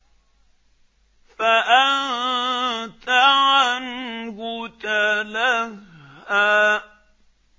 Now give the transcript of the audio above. فَأَنتَ عَنْهُ تَلَهَّىٰ